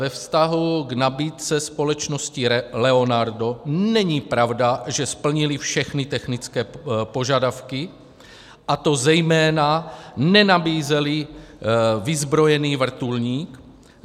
Ve vztahu k nabídce společnosti Leonardo není pravda, že splnili všechny technické požadavky, a to zejména nenabízeli vyzbrojený vrtulník.